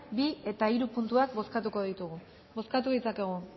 bi eta hiru puntuak bozkatuko ditugu bozkatu ditzakegu